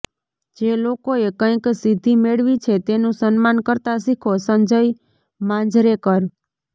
જે લોકોએ કંઈક સિદ્ધિ મેળવી છે તેનું સન્માન કરતા શીખો સંજય માંજરેકર